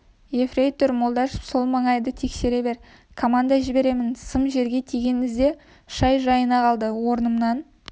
ефрейтор молдашев сол маңайды тексере бер комаңда жіберемін сым жерге тиген ізде шай жайына қалды орнымнан